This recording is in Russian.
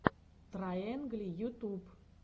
трайэнгли ютуб